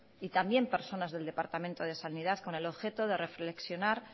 y también personas del departamento de sanidad con el objeto de reflexionar